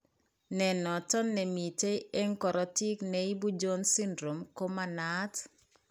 Ne noton, ne miten eng korotiik ne ibu Jones syndrome ko ma naat.